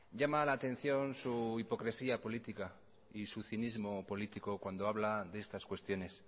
llama la atención su hipocresía política y su cinismo político cuando habla de estas cuestiones